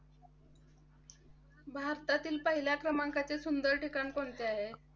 भारतातील पहिल्या क्रमांकाचे सुंदर ठिकाण कोणते आहे?